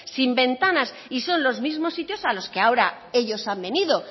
sin ventanas y son los mismos sitios a los que ahora ellos han venido